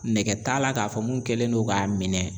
Nɛgɛ t'a la k'a fɔ mun kɛlen don k'a minɛ